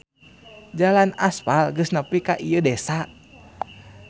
Jalan aspal geus nepi ka ieu desa.